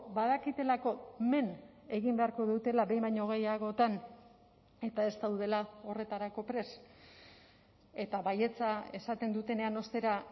badakitelako men egin beharko dutela behin baino gehiagotan eta ez daudela horretarako prest eta baietza esaten dutenean ostera